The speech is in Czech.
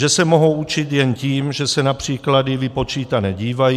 Že se mohou učit jen tím, že se na příklady vypočítané dívají.